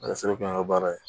A be se k'o kɛ an ka baara ye